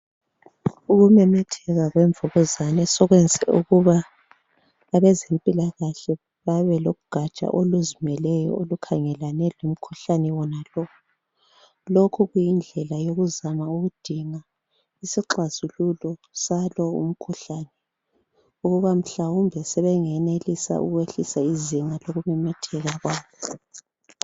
Ukumemetheka kwemvukuzane sokwenze ukuba abezempilakahle babelogaja oluzimeleyo olukhangelane lomkhuhlane wonalo. Lokhu kuyindlela yokuzama ukudinga isixazululo salo umkhuhlane ukuba mhlawumbe sebengehlisa izinga lokumemetheka kwawo.